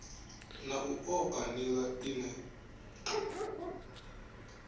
na u oa nila ine